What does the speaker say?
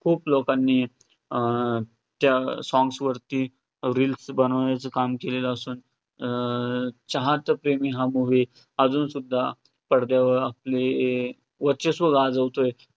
खूप लोकांनी अं त्या songs वरती reels बनवण्याचं काम केलेलं असून अं चाहत प्रेमी हा movie अजून सुद्धा पडद्यावर आपले वर्चस्व गाजवतोय हे